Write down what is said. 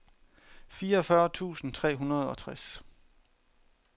fireogfyrre tusind tre hundrede og tres